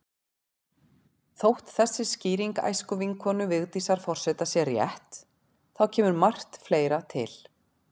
Þótt þessi skýring æskuvinkonu Vigdísar forseta sé rétt, þá kemur margt fleira til.